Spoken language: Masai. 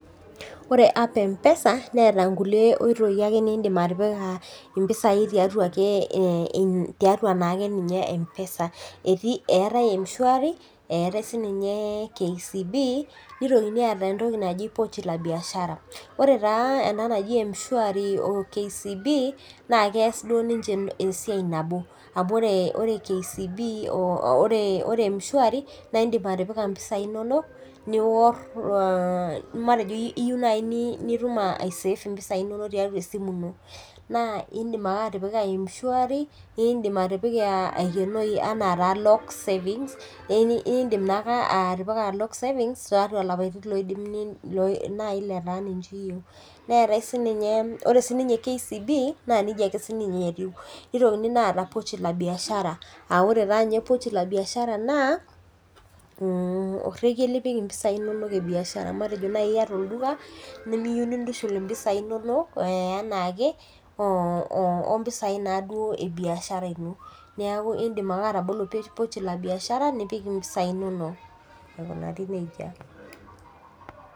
Ore app empesa neeta ake nkulie ooitoi nindim atipika impisai tiatua akeyie empesa eetae mshwari neetae akeyie ninye kcb nitoki aata pochi la biashara ore taa ena naji mshwari o kcb na keas duo nche esiai nabo amu ore mshari na indik atpika mpisai ino matejo iyieu nipik ai save ropiyani inonok na indim ake atipika mshwari eyioloi anaa lock savings anaa lapatin nai liyieu, nitokini aata pochi la biashara aa ore taa nye naa orege lipik mpisai inonok ebiashara nimiyieu nintushul impisai inonok ompisai ebiashara neaku indim ake atabolo pochi la biashara nipik mpisai inonok aikunaa nejia.